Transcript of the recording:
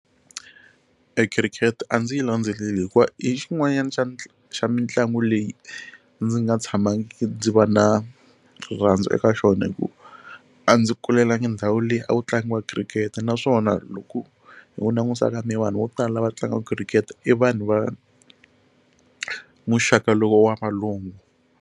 Khirikete a ndzi yi landzeleli hikuva i xin'wanyana xa xa mitlangu leyi ndzi nga tshamangiki ndzi va na rirhandzu eka xona hi ku a ndzi kulelangi ndhawu leyi a ku tlangiwa khirikete naswona loko hi ku langusa ka mehe vanhu vo tala lava tlangaka khirikete i vanhu va muxaka lowu wa valungu.